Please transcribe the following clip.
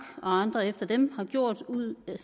og andre efter dem har gjort ud